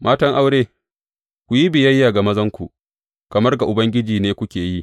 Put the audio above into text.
Matan aure, ku yi biyayya ga mazanku, kamar ga Ubangiji ne kuke yi.